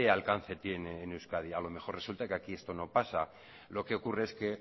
alcance tiene en euskadi a lo mejor resulta que aquí esto no pasa lo que ocurre es que